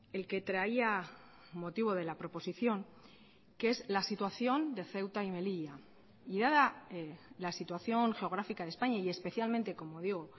el que traía motivo de la proposición que es la situación de ceuta y melilla y dada la situación geográfica de españa y especialmente como digo